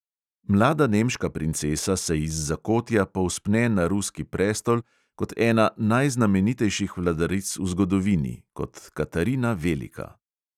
Mlada nemška princesa se iz zakotja povzpne na ruski prestol kot ena najznamenitejših vladaric v zgodovini, kot katarina velika.